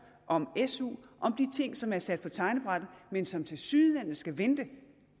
om su om de ting som er sat på tegnebrættet men som tilsyneladende skal vente